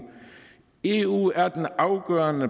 eu er den afgørende